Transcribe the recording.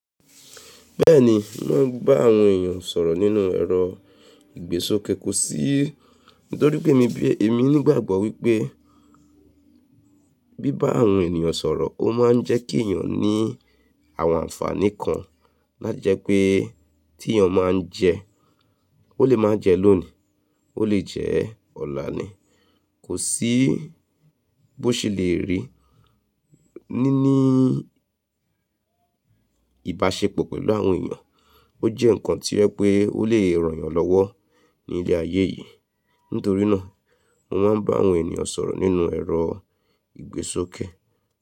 Bẹ́ẹ̀ni, mo ń bá àwọn èyàn sọ̀rọ̀ nínú ẹ̀rọ ìgbésókè, kò sí, nítorí mi bí, èmi nígbàgbọ́ wípé bí bá àwọn ènìyàn sọ̀rọ̀, ó máa ń jẹ́ kí èèyàn ní àwọn ànfàní kan, lájẹ́pe tí èèyàn máa ń jẹ, ó lè máa jẹ lónìí, ó lè jẹ ọ̀la ni, kò sí bó ṣe le rí. Níní ìbáṣepọ̀ pẹ̀lú àwọn ènìyàn, ó jẹ́ ǹkan tí o ẹ pé ó lè ràn yàn lọ́wọ́ ní ilé ayé yìí. Nítorí náà, mo máa ń bá àwọn ènìyàn sọ̀rọ̀ nínú ẹ̀rọ ìgbésókè.